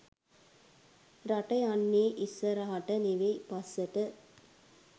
රට යන්නේ ඉස්සරහට නෙවෙයි පස්සට.